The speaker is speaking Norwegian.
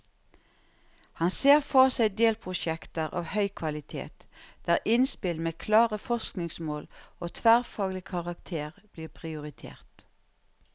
Han ser for seg delprosjekter av høy kvalitet, der innspill med klare forskningsmål og tverrfaglig karakter blir prioritert.